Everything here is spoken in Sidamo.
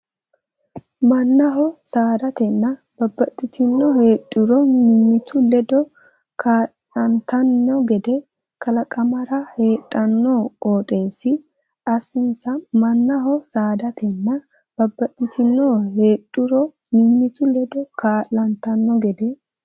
Mannaho saadatenna babbaxxitino heedhuro mimmitu ledo kaa lantanno gede kalaqamara heedhanno qooxeessi assinsa Mannaho saadatenna babbaxxitino heedhuro mimmitu ledo kaa lantanno gede.